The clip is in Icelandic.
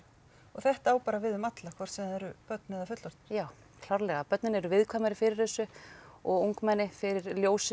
þetta á bara við um alla hvort sem eru börn eða fullorðnir já klárlega börnin eru viðkvæmari fyrir þessu og ungmenni fyrir ljósinu